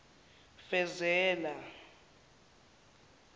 fezela